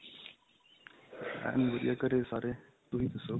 ਏਨ ਵਧੀਆ ਘਰੇ ਸਾਰੇ ਤੁਸੀਂ ਦੱਸੋ